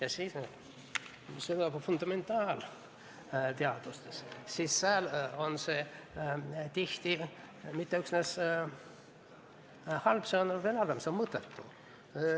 Aga fundamentaalteaduse puhul on see tihti mitte üksnes halb, vaid see on veel halvem: see on mõttetu.